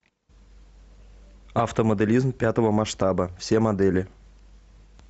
автомоделизм пятого масштаба все модели